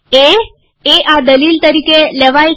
એ એ આ દલીલ તરીકે લેવાય છે